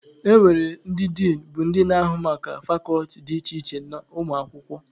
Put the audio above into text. E nwere ndị Din bụ ndị na-ahụ maka fakọlti dị iche iche na ụmụ akwụkwọ.